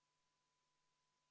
Austatud Riigikogu ja head kolleegid!